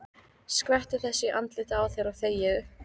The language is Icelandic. Skvettu þessu í andlitið á þér og þegiðu.